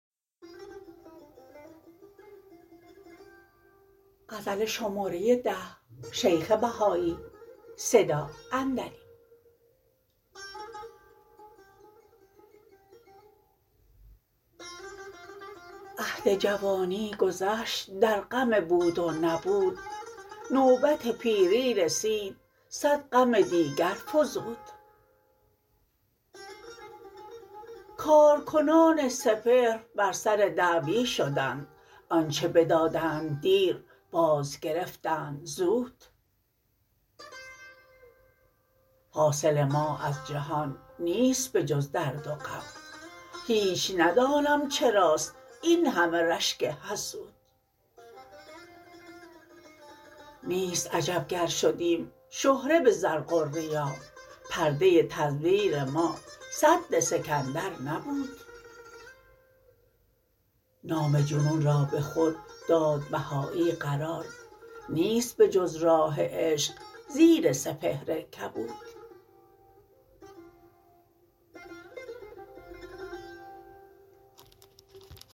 عهد جوانی گذشت در غم بود و نبود نوبت پیری رسید صد غم دیگر فزود کارکنان سپهر بر سر دعوی شدند آنچه بدادند دیر باز گرفتند زود حاصل ما از جهان نیست به جز درد و غم هیچ ندانم چراست این همه رشک حسود نیست عجب گر شدیم شهره به زرق و ریا پرده تزویر ما سد سکندر نبود نام جنون را به خود داد بهایی قرار نیست به جز راه عشق زیر سپهر کبود